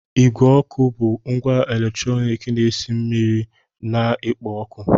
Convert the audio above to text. Igwe ọkụ bụ ngwa eletrọnịkị na-esi mmiri na-ekpo ọkụ.